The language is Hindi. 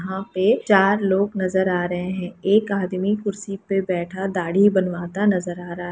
यहाँ पे चार लोग नज़र आ रहें हैं। एक आदमी कुर्सी पे बैठा दाढ़ी बनवाता नज़र आ रहा --